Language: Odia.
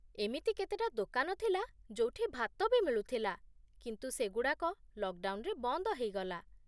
ଏମିତି କେତେଟା ଦୋକାନ ଥିଲା ଯୋଉଠି ଭାତ ବି ମିଳୁଥିଲା, କିନ୍ତୁ ସେଗୁଡ଼ାକ ଲକ୍‌ଡ଼ାଉନ୍‌ରେ ବନ୍ଦ ହେଇଗଲା ।